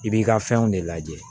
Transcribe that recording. I b'i ka fɛnw de lajɛ